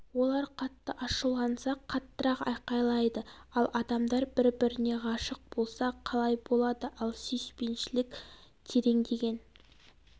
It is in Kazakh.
олар қатты ашуланса қаттырақ айқайлайды ал адамдар бір біріне ғашық болса қалай болады ал сүйіспеншілік тереңдеген